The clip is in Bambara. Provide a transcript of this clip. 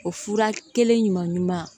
O fura kelen ɲuman ɲuman